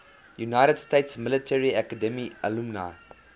united states military academy alumni